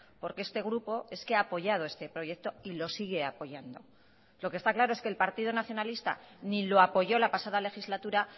porque este grupo es que ha apoyado este proyecto y lo sigue apoyando lo que está claro es que el partido nacionalista ni lo apoyó la pasada legislatura